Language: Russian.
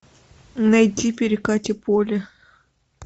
найти перекати поле